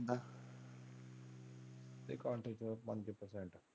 ਅੱਧੇ ਘੰਟੇ ਚ ਓੰਜ percent.